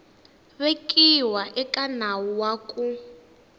vekiwa eka nawu wa ku